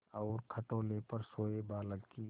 और खटोले पर सोए बालक की